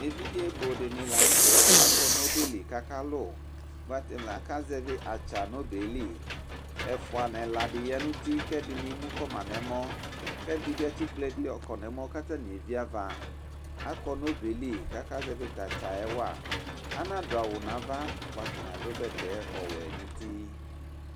Evidze bʋdɩnɩ lz nʋtɛ akɔ n'ɔbɛ li k'aka lʋ ; bʋa atanɩ k'azɛvɩ atsa n'ɔbɛɛ li Ɛfʋa n'ɛladi ya n'uti k'ɛdɩnɩ emukɔma n'ɛmɔ k'ɛdɩnɩ bɩ atsɩkple ɛdɩ yɔkɔ n'ɛmɔ k'atanɩ eviava Akɔ n'ɔbɛɛ li k'aka zɛvɩ t'atsaɛ wa Anadʋ awʋ n'ava bʋa atanɩ adʋ bɛtɛ ɔwɛ n'uti